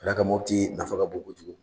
Ka d'a kan Mɔputi nafa ka bon kojugu.